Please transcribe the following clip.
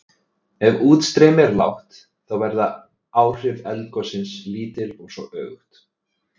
Ef útstreymi er lágt þá verða áhrif eldgossins lítil og svo öfugt.